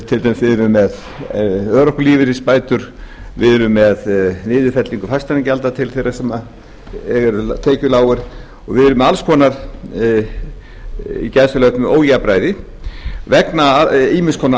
til dæmis erum við með örorkulífeyrisbætur við erum með niðurfellingu fasteignagjalda til þeirra sem eru tekjulágir og við erum með alls konar ójafnræði vegna ýmiss konar